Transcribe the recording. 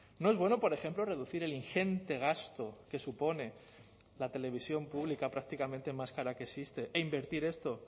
no es bueno por ejemplo reducir el ingente gasto que supone la televisión pública prácticamente más cara que existe e invertir esto